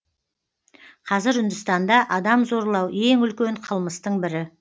қазір үндістанда адам зорлау ең үлкен қылмыстың бірі